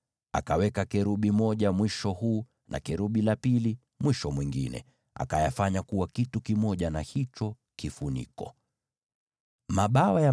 Akatengeneza kerubi mmoja kwenye mwisho mmoja, na kerubi mwingine kwenye mwisho mwingine; akawatengeneza kuwa kitu kimoja na hicho kifuniko katika miisho hiyo miwili.